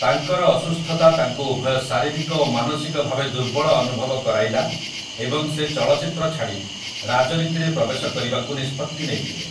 ତାଙ୍କର ଅସୁସ୍ଥତା ତାଙ୍କୁ ଉଭୟ ଶାରୀରିକ ଓ ମାନସିକ ଭାବେ ଦୁର୍ବଳ ଅନୁଭବ କରାଇଲା ଏବଂ ସେ ଚଳଚ୍ଚିତ୍ର ଛାଡ଼ି ରାଜନୀତିରେ ପ୍ରବେଶ କରିବାକୁ ନିଷ୍ପତ୍ତି ନେଇଥିଲେ ।